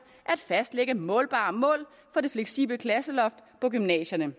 at fastlægge målbare mål for det fleksible klasseloft på gymnasierne